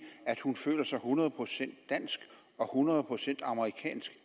at hun samtidig føler sig hundrede procent dansk og hundrede procent amerikansk